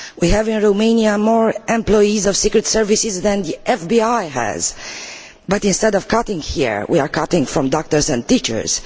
We have in Romania more employees of secret services than the FBI has but, instead of cutting here, we are cutting doctors and teachers.